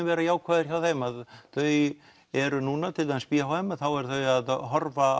verið jákvæður hjá þeim þau eru núna til dæmis b h m þá eru þau að horfa